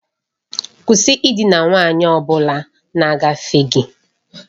Kwụsị ịdina nwanyị ọ bụla na-agafe gị!